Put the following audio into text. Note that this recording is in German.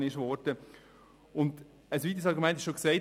Ein weiteres Argument wurde bereits dargelegt.